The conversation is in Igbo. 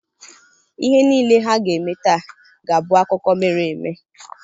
Ihe niile ha ga-eme taa ga-abụ akụkọ mere eme.